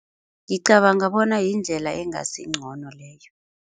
Ngicabanga bona yindlela engasi ngcono leyo.